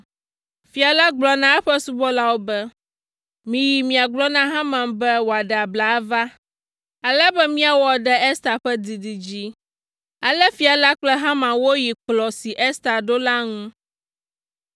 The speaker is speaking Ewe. Fia la gblɔ na eƒe subɔlawo be, “Miyi miagblɔ na Haman be wòaɖe abla ava, ale be miawɔ ɖe Ester ƒe didi dzi.” Ale fia la kple Haman woyi kplɔ̃ si Ester ɖo la ŋu.